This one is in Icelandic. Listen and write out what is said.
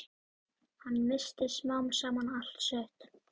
Hann missti smám saman allt sitt.